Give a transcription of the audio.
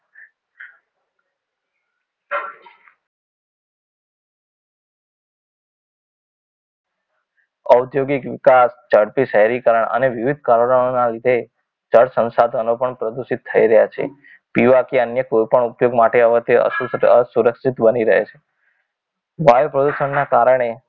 ઔદ્યોગિક વિકાસ ઝડપી શહેરીકરણ અને વિવિધ કારણોના લીધે જળ સંસાધનો પણ પ્રદૂષિત થઈ રહ્યા છે પીવા કે અન્ય કોઈપણ ઉપયોગ માટે તે અસુરક્ષિત બની રહે છે વાયુ પ્રદૂષણના કારણે